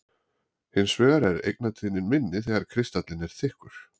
Hins vegar er eigintíðnin minni þegar kristallinn er þykkur.